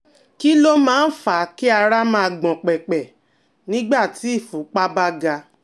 Kí ló máa ń fà á kí ara máa gbọ̀n pẹ̀pẹ̀ nígbà tí ìfúnpá bá ga?